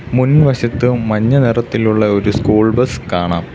മുൻവശത്ത് മഞ്ഞനിറത്തിലുള്ള ഒരു സ്കൂൾ ബസ് കാണാം.